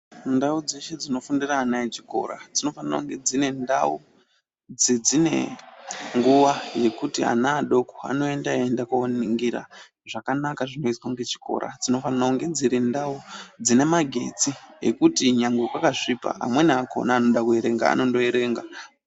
Ndau dzeshe dzinofundire ana echikora, dzinofanira kunge dzine ndau dzine nguwa yekuti ana adoko anoenda eienda koningira zvakanaka zvinoizwa ngechikora. Dzinofanira kunge dziri ndau dzine magetsi, ekuti nyange kwakasvipa amweni akona anoda kuerenga anondoerenga.